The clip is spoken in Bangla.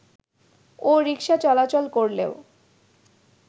ও রিকশা চলাচল করলেও